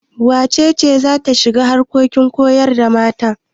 Wace ce za ta shiga harkokin koyar da mata?